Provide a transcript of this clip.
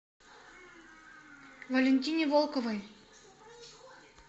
валентине волковой